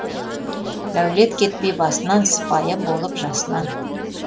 дәулет кетпей басынан сыпайы болып жасынан